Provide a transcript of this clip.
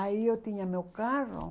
Aí eu tinha meu carro.